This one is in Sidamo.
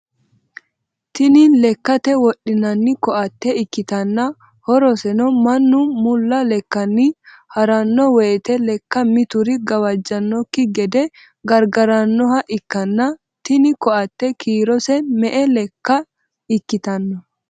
Tinni lekate wodhinnanni koate ikitanna horoseno mannu mulla lekanni harano woyite lekka mitiri gawajanoki gede gargaranoha ikanna tinni koate kiirose me"e lekka ikitano?